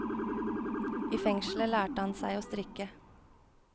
I fengselet lærte han seg å strikke.